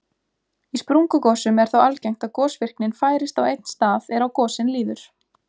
Í sprungugosum er þó algengt að gosvirknin færist á einn stað er á gosin líður.